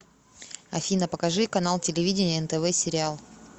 афина покажи канал телевидения нтв сериал